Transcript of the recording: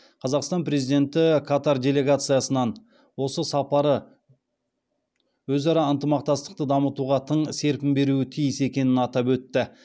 қазақстан президенті катар делегациясының осы сапары өзара ынтымақтастықты дамытуға тың серпін беруі тиіс екенін атап өтті